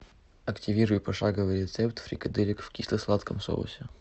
активируй пошаговый рецепт фрикаделек в кисло сладком соусе